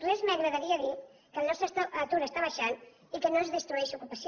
res m’agradaria més que dir que el nostre atur està baixant i que no es destrueix ocupació